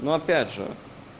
но опять же